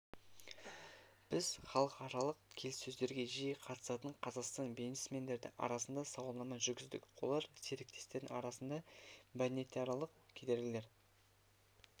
біз халықаралық келіссөздерге жиі қатысатын қазақстан бизнесмендері арасында сауалнама жүргіздік олар серіктестердің арасында мәдениетаралық кедергілер